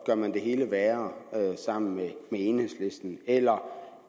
gør man det hele værre sammen med enhedslisten eller